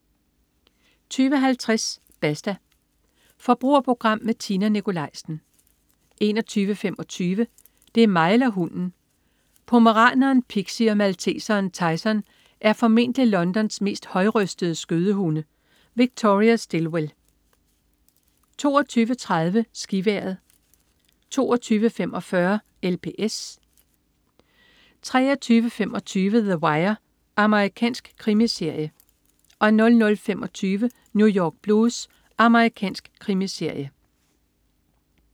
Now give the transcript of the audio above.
20.50 Basta. Forbrugerprogram med Tina Nikolaisen 21.25 Det er mig eller hunden! Pomeraneren Pixie og malteseren Tyson er formentlig Londons mest højrøstede skødehunde. Victoria Stilwell 22.30 SkiVejret 22.45 LPS 23.25 The Wire. Amerikansk krimiserie 00.25 New York Blues. Amerikansk krimiserie